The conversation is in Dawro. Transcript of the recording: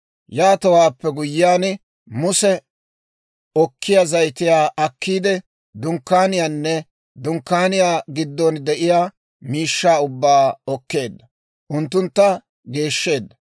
Yaatowaappe guyyiyaan Muse okkiyaa zayitiyaa akkiide, Dunkkaaniyaanne Dunkkaaniyaa giddon de'iyaa miishshaa ubbaa okkeedda; unttuntta geeshsheedda.